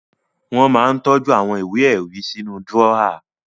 Wọ́n máa ń tọ́jú àwọn ìwé-ẹ̀rí sínú dúrọ́à.